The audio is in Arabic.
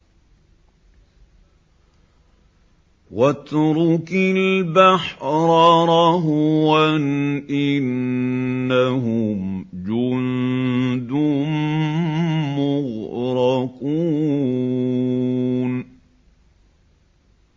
وَاتْرُكِ الْبَحْرَ رَهْوًا ۖ إِنَّهُمْ جُندٌ مُّغْرَقُونَ